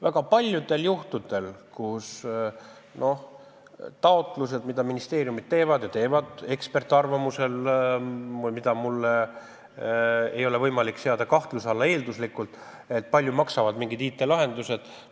Väga paljudel juhtudel on nende taotlustega, mida ministeeriumid teevad eksperdiarvamuse alusel, nii, et mul ei ole võimalik eelduslikult seada kahtluse alla seda, kui palju maksavad mingid IT-lahendused.